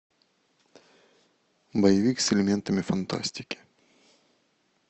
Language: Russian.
боевик с элементами фантастики